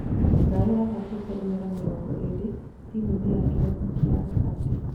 Brayo athakĩte imera mĩrongo ĩrĩ timu-inĩ ya kĩrabu kĩa Rakati.